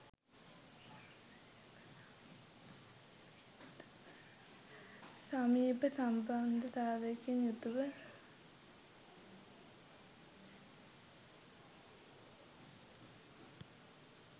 සමීප සම්බන්ධතාවයකින් යුතුව